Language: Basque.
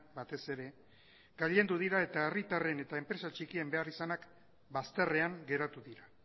batez ere gailendu dira eta herritarren eta enpresa txikien beharrizanak bazterrean geratu dira